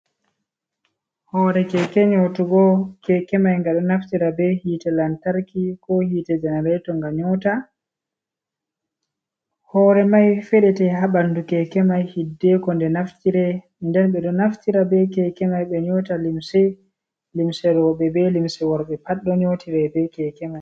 Hoore keke nyootugo ,keke may ɗo naftira be hiite lantarki ko hiite janareeto nga nyoota, hoore may feɗete haa ɓanndu keke may, hiddeeko nde naftire .Nden ɓe ɗo naftira be keke may ɓe nyota limse rowɓe be limse worɓe pat ɗo nyootire be keke may.